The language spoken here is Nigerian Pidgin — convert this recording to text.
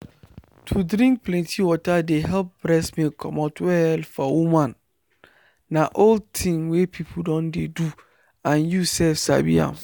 to drink plenty water dey help breast milk comot well for woman na old thing wey people don dey do and you sef sabi am